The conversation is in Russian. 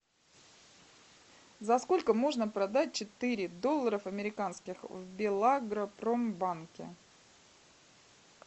за сколько можно продать четыре долларов американских в белагропромбанке